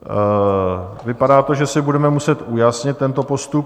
Vypadá to, že si budeme muset ujasnit tento postup.